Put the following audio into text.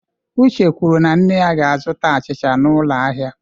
Uche kwuru na nne ya ga-azụta achịcha n'ụlọ ahịa.